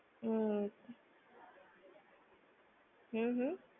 હમ્મ. હમ હમ.